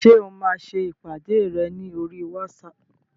Ṣé o máa ṣe ìpàdé rẹ ní oríi wátísapù?